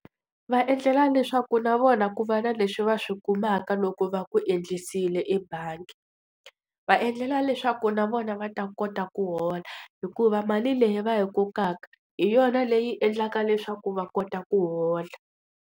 Va endlela leswaku na vona ku va na leswi va swi kumaka loko va ku endlisiwe ebangi. Va endlela leswaku na vona va ta kota ku hola. Hikuva mali leyi va yi kokaka hi yona leyi endlaka leswaku va kota ku hola.